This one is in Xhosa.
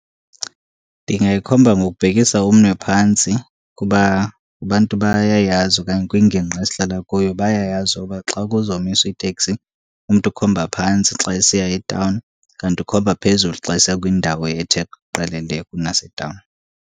Ndingayikhomba ngokubhekisa umnwe phantsi, kuba abantu bayayazi okanye kwingingqi esihlala kuyo bayayazi uba xa kuzomiswa iteksi umntu ukhomba phantsi xa esiya etawuni. Kanti ukhomba phezulu xa esiya kwindawo ethe qelele kunasetawuni.